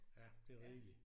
Ja det er rigeligt